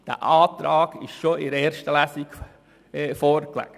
Dieser Antrag lag schon in der ersten Lesung vor.